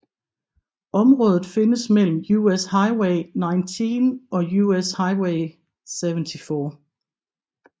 Området findes mellem US Highway 19 og US Highway 74